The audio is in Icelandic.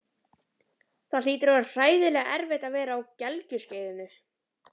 Það hlýtur að vera hræðilega erfitt að vera á gelgjuskeiðinu.